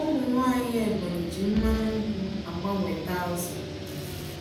Ụmụ nwanyị Ebonyi ji mmanụ nkwụ gbanweta azụ.